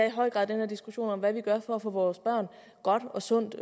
i høj grad den her diskussion om hvad vi gør for at få vores børn godt og sundt